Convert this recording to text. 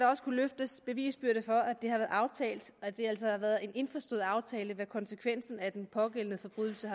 også løftes bevisbyrde for at det har været aftalt og at det altså har været en indforstået aftale hvad konsekvensen af den pågældende forbrydelse